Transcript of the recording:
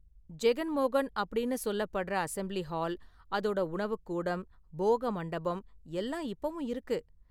ஜெகன் மோகன் அப்படின்னு சொல்லப்படுற அசெம்ப்ளி ஹால் அதோடஉணவுக் கூடம், போக மண்டபம் எல்லாம் இப்பவும் இருக்கு.